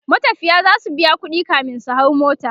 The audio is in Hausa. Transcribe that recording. matafiya zasu biya ƙuɗi kamin su hau mota